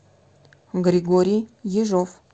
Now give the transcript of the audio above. григорий ежов